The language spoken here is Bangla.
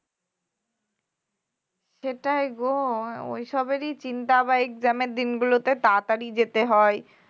সেটাই গো ওই সবেরই চিন্তা আবার exam দিনগুলোতে তাড়াতাড়ি যেতে হয়